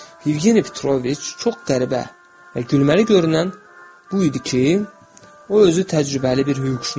Yevgeni Petroviç, çox qəribə və gülməli görünən bu idi ki, o özü təcrübəli bir hüquqşünas idi.